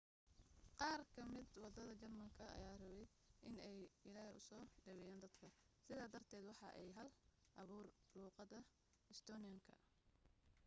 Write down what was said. qaar ka mida wadaadada jarmalka ayaa rabay in ay ilaahey usoo dhaweeyan dadka sida darted waxa ay hal abuureyn luuqada estonian-ka